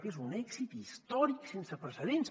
que és un èxit històric sense precedents